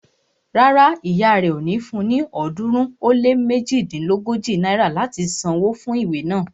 Rárá, ìyá rẹ ò ní fun ní ọ̀ọ́dúnrún ó lé méjodínlógójì náírà láti san wó fún ìwé naa